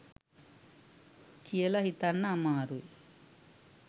කියල හිතන්න අමාරුයි